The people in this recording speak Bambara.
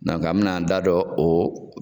an bɛ n'an da dɔ o